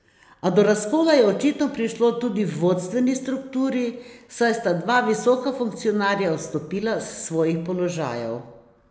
A do razkola je očitno prišlo tudi v vodstveni strukturi, saj sta dva visoka funkcionarja odstopila s svojih položajev.